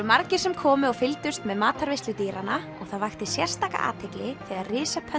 margir sem komu og fylgdust með matarveislu dýranna og það vakti sérstaka athygli þegar